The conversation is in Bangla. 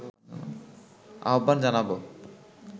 আহ্বান জানাবো